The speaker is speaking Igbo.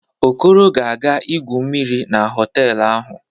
Okoro ga-aga igwu mmiri na họtelụ ahụ.